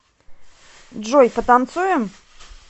джой потанцуем